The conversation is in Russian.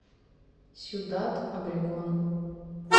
сьюдад обрегон